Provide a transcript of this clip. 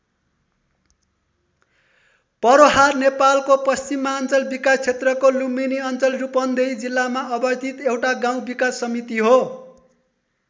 पर्रोहा नेपालको पश्चिमाञ्चल विकास क्षेत्रको लुम्बिनी अञ्चल रूपन्देही जिल्लामा अवस्थित एउटा गाउँ विकास समिति हो।